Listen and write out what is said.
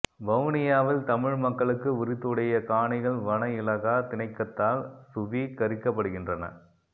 வவுனியாவில் தமிழ் மக்களுக்கு உரித்துடைய காணிகள் வன இலாகா திணைக்கத்தால் சுவீகரிக்கப்படுகின்றன